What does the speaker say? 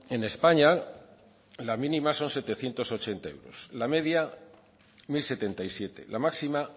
en españa la mínima son setecientos ochenta la media mil setenta y siete la máxima